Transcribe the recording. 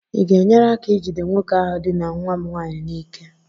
ị ga-enyere aka ijide nwoke ahụ dinaa nwa m nwaanyị n'ike?